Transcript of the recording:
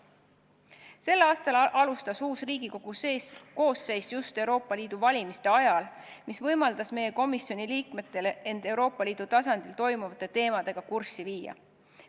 Sel aastal alustas uus Riigikogu koosseis just Euroopa Liidu valimiste ajal, mis võimaldas meie komisjoni liikmetel end Euroopa Liidu tasandile kuuluvate teemadega kurssi viia.